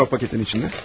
Nə var o paketin içində?